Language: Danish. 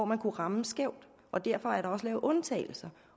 ramme skævt og derfor blev der også lavet undtagelser